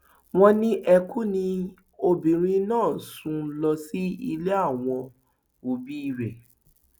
wọn ní ẹkún ni obìnrin náà sùn lọ sí ilé àwọn òbí rẹ